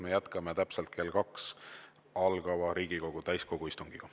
Me jätkame täpselt kell kaks algava Riigikogu täiskogu istungiga.